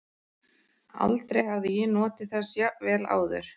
Aldrei hafði ég notið þess jafn vel áður.